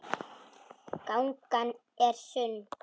Gangan er sund.